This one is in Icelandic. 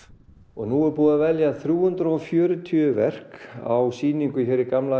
og nú er búið að velja þrjú hundruð og fjörutíu verk á sýningu hér í gamla